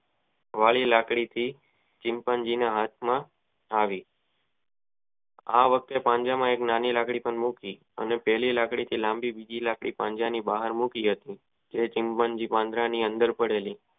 વળી લાકડી થી ચિંપાંઝીના હાથ માં આવી આ વખતે નાની લાકડી પાંજરા માં ના હતી અને પેલી લાંબી લાકડી થી બીજી લાંબી લાકડ પાંજરાની બહાર મૂકી હતી તે ચિંપાંઝીન પાંજરાની અંદર પડેલી